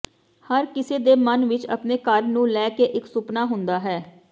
ਹਰ ਕਿਸੇ ਦੇ ਮਨ ਵਿਚ ਅਪਣੇ ਘਰ ਨੂੰ ਲੈ ਕੇ ਇਕ ਸੁਪਨਾ ਹੁੰਦਾ ਹੈ